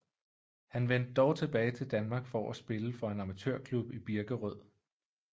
Han vendte dog tilbage til Danmark for at spille for en amatørklub i Birkerød